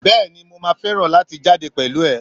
bẹẹni, mọ má ferán latí jade pẹlu e